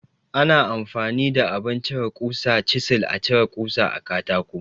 Ana amfani da abin cire ƙusa (Cizil) a cire kusa a katako.